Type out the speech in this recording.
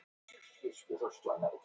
Fínlegt andlitið á Siggu.